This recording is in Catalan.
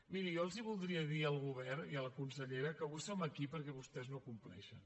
miri jo els voldria dir al govern i a la consellera que avui som aquí perquè vostès no compleixen